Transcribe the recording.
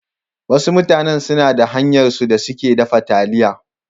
Wasu mutanen suna da hanyarsu da suke dafa taliya.